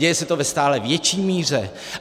Děje se to ve stále větší míře.